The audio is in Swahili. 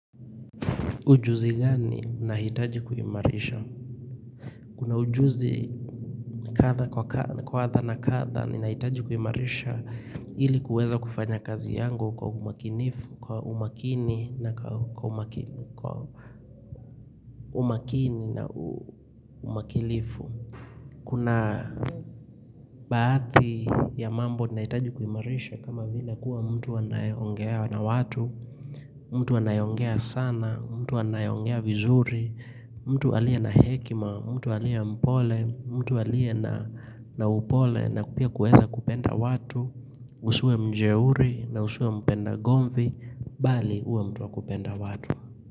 Ujuzi gani nahitaji kuimarisha? Kuna ujuzi kadha na kadha ni nahitaji kuimarisha ili kuweza kufanya kazi yangu kwa umakinifu, kwa umakini na umakilifu. Kuna baadhi ya mambo nahitaji kuimarisha kama vile kuwa mtu anayeongea na watu, mtu anayeongea sana, mtu anayeongea vizuri, mtu alie na hekima, mtu alie mpole, mtu alie na upole na pia kueza kupenda watu Usiwe mjeuri na usiwe mpenda gonfi, bali uwe mtuwa kupenda watu.